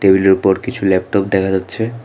টেবিলের উপর কিছু ল্যাপটপ দেখা যাচ্ছে।